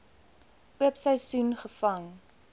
oop seisoen gevang